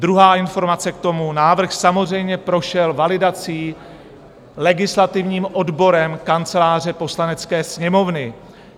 Druhá informace k tomu: návrh samozřejmě prošel validací, legislativním odborem Kanceláře Poslanecké sněmovny.